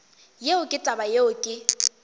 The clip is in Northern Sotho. yeo ke taba yeo ke